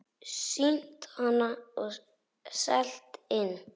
Sýnt hann og selt inn.